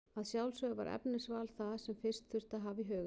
Að sjálfsögðu var efnisval það sem fyrst þurfti að hafa í huga.